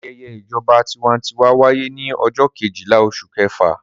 Ayẹyẹ ìjọba tiwantiwa wáyé ní ọjọ́ kejìlá oṣù kẹfà.